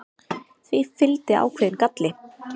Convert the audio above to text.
Því fylgdi ákveðinn galli.